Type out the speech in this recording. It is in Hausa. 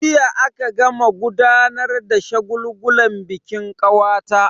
Jiya aka gama gudanar da shagulgulan bikin kawata.